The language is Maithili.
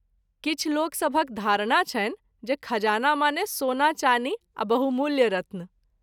किछु लोकसभक धारणा छनि जे खजाना माने सोना चानी आ बहुमूल्य रत्न।